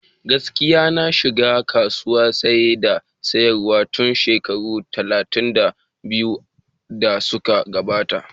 Gaskiya, na shiga kasuwan Saye da sayarwa tun shekaru talatin da biyu da suka gabata.